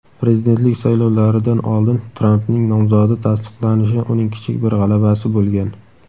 prezidentlik saylovlaridan oldin Trampning nomzodi tasdiqlanishi uning kichik bir g‘alabasi bo‘lgan.